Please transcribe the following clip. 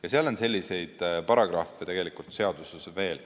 Ja seal on selliseid paragrahve seaduses veel.